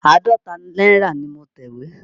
Àádọ́ta náírà ni mo tẹ̀wé.